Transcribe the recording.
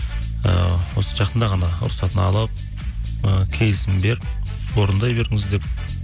ііі осы жақында ғана рұқсатын алып і келісімін беріп орындай беріңіз деп